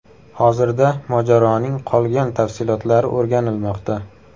Hozirda mojaroning qolgan tafsilotlari o‘rganilmoqda.